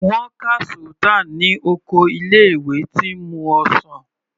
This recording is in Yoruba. Wọ́n ka Sultan ní oko ilé ìwé tí ń mu ọsàn.